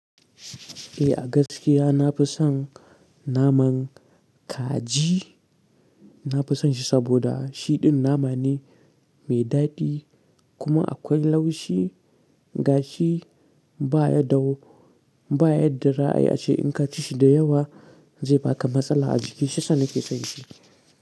Eh a gaskiya na fi son naman kaji. Na fi son shi saboda shiɗin nama ne mai daɗi kuma akwai laushi gashi baya dau, baya da ra'ayi ace in ka ci shi da yawa zai baka matsala a jiki shiyasa nake sonshi.